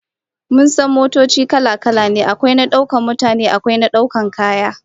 Mun san motoci kala-kala ne, akwai na daukar mutane akwai na daukar kaya